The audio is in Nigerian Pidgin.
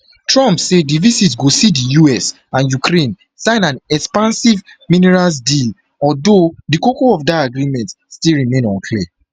trump say di visit go see di us and ukraine sign an expansive minerals deal although di koko of dat agreement still remain unclear